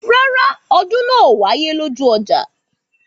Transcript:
Rárá, ọdún náà ò wáyé ní ojú ọjà